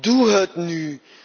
Doe het